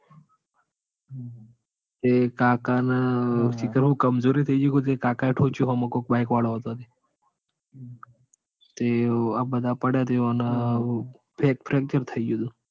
એ કાકા ના સીખર હું કમજોરી થઇ ગાઈ કે હાહુ તે કાકા એ થોંચ્યું હોમ કોક bike વાળો આવ તે આ આબધા પડ્યા તે આઓના fracture તો થઇ ગયું તું.